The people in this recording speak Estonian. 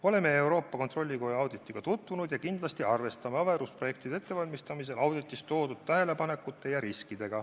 Oleme Euroopa Kontrollikoja auditiga tutvunud ja kindlasti arvestame averusprojektide ettevalmistamisel auditis esitatud tähelepanekuid ja riske.